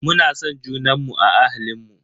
Muna son junanmu a ahalinmu.